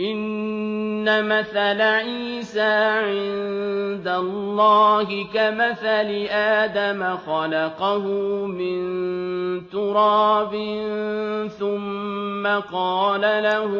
إِنَّ مَثَلَ عِيسَىٰ عِندَ اللَّهِ كَمَثَلِ آدَمَ ۖ خَلَقَهُ مِن تُرَابٍ ثُمَّ قَالَ لَهُ